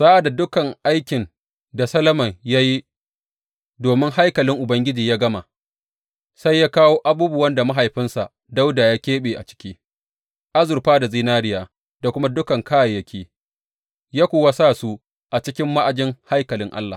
Sa’ad da dukan aikin da Solomon ya yi domin haikalin Ubangiji ya gama, sai ya kawo abubuwan da mahaifinsa Dawuda ya keɓe a ciki, azurfa da zinariya da kuma dukan kayayyaki, ya kuwa sa su a cikin ma’ajin haikalin Allah.